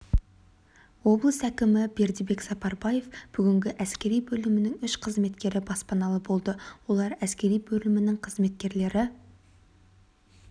облыс әкімі бердібек сапарбаев бүгінгі әскери бөлімінің үш қызметкері баспаналы болды олар әскери бөлімінің қызметкерлері